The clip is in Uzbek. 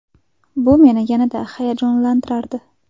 Bu meni yanada hayajonlantirardi.